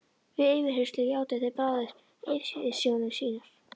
Við yfirheyrslur játuðu þeir bræður yfirsjónir sínar.